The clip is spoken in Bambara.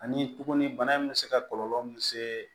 Ani tuguni bana in bɛ se ka kɔlɔlɔ min se